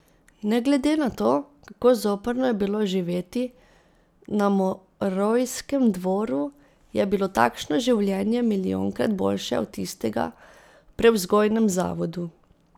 Ne glede na to, kako zoprno je bilo živeti na morojskem dvoru, je bilo takšno življenje milijonkrat boljše od tistega v prevzgojnem zavodu.